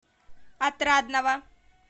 отрадного